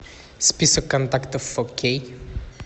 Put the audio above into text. список контактов фо кей